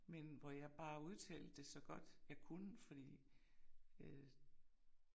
Men hvor jeg bare udtalte det så godt jeg kunne fordi øh